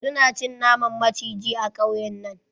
Su na cin naman maciji a kauyen nan.